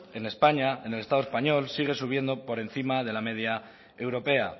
en españa en el estado español sigue subiendo por encima de la media europea